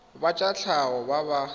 ba tsa tlhago ba ba